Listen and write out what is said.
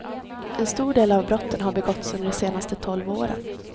En stor del av brotten har begåtts under de senaste tolv åren.